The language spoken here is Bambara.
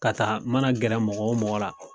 Ka taa mana gɛrɛ mɔgɔ wo mɔgɔ la.